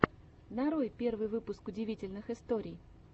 нарой первый выпуск удивительных историй